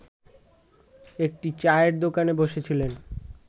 একটি চায়ের দোকানে বসেছিলেন